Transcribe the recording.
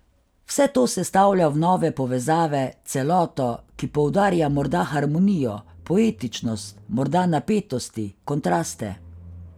Vse to sestavlja v nove povezave, celoto, ki poudarja morda harmonijo, poetičnost, morda napetosti, kontraste ...